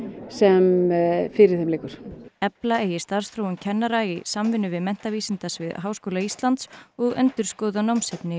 sem fyrir þeim liggur efla eigi starfsþróun kennara í samvinnu við menntavísindasvið Háskóla Íslands og endurskoða námsefni